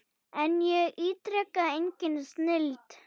En ég ítreka, engin snilld.